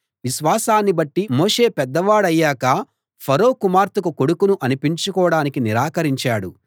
విశ్వాసాన్ని బట్టి మోషే పెద్దవాడయ్యాక ఫరో కుమార్తెకు కొడుకును అనిపించుకోడానికి నిరాకరించాడు